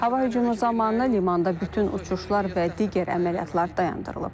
Hava hücumu zamanı limanda bütün uçuşlar və digər əməliyyatlar dayandırılıb.